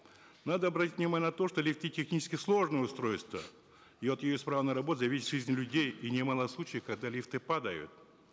надо обратить внимание на то что лифты технически сложные устройства и от ее исправной работы зависит жизнь людей и немало случаев когда лифты падают